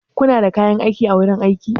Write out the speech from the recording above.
Kuna da kayan aiki a wurin aiki?